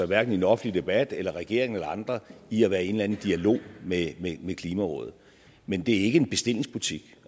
hverken i den offentlige debat eller regeringen eller andre i at være i en eller anden dialog med klimarådet men det er ikke en bestillingsbutik